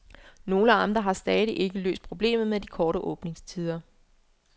Nogle amter har stadig ikke løst problemet med de korte åbningstider.